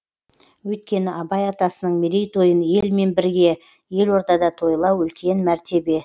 өйткені абай атасының мерейтойын елмен бірге елордада тойлау үлкен мәртебе